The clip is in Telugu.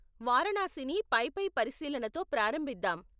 వారాణసిని పైపై పరిశీలనతో ప్రారంభిద్దాం.